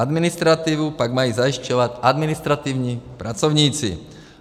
Administrativu pak mají zajišťovat administrativní pracovníci.